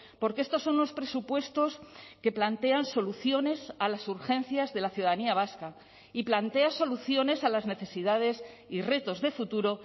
porque estos son los presupuestos que plantean soluciones a las urgencias de la ciudadanía vasca y plantea soluciones a las necesidades y retos de futuro